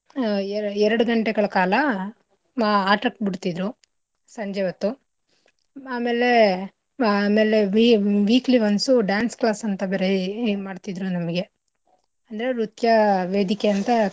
ಆಹ್ ಎರಡ್ ಗಂಟೆಗಳ್ ಕಾಲ ಆಟಕ್ ಬಿಡ್ತಿದ್ರು ಸಂಜೆ ಹೊತ್ತು ಆಮೇಲೆ ಆಮೇಲೆ wee~ weekly once uh dance class ಅಂತ ಬೇರೆ ಇದ್ಮಾಡ್ತಿದದ್ರು ನಮ್ಗೆ ಅಂದ್ರೆ ನೃತ್ಯ ವೇದಿಕೆ ಅಂತ.